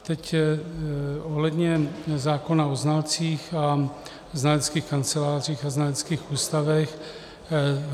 Teď ohledně zákona o znalcích a znaleckých kancelářích a znaleckých ústavech.